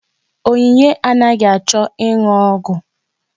Onyinye anaghị achọ ịnụ ọgwụ.